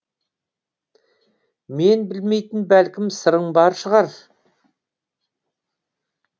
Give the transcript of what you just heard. мен білмейтін бәлкім сырың бар шығар